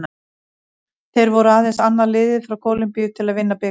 Þeir voru aðeins annað liðið frá Kólumbíu til að vinna bikarinn.